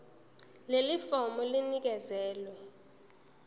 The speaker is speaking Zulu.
leli fomu linikezelwe